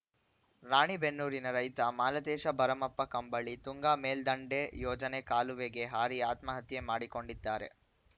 ರಾಣಿಬೆನ್ನೂರಿನ ರೈತ ಮಾಲತೇಶ ಭರಮಪ್ಪ ಕಂಬಳಿ ತುಂಗಾ ಮೇಲ್ದಂಡೆ ಯೋಜನೆ ಕಾಲುವೆಗೆ ಹಾರಿ ಆತ್ಮಹತ್ಯೆ ಮಾಡಿಕೊಂಡಿದ್ದಾರೆ